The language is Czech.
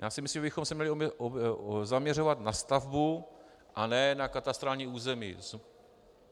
Já si myslím, že bychom se měli zaměřovat na stavbu, a ne na katastrální území.